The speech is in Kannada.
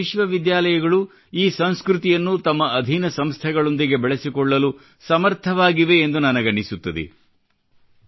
ಭಾರತೀಯ ವಿಶ್ವವಿದ್ಯಾಲಯಗಳು ಈ ಸಂಸ್ಕೃತಿಯನ್ನು ತಮ್ಮ ಅಧೀನ ಸಂಸ್ಥೆಗಳೊಂದಿಗೆ ಬೆಳೆಸಿಕೊಳ್ಳಲು ಸಮರ್ಥವಾಗಿವೆಯೆಂದು ನನಗನಿಸುತ್ತದೆ